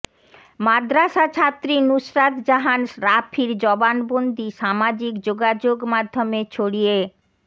মাদরাসাছাত্রী নুসরাত জাহান রাফির জবানবন্দি সামাজিক যোগাযোগ মাধ্যমে ছড়ি